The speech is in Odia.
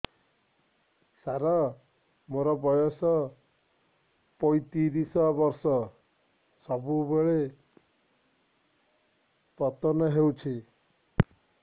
ସାର ମୋର ବୟସ ପୈତିରିଶ ବର୍ଷ ସବୁବେଳେ ପତନ ହେଉଛି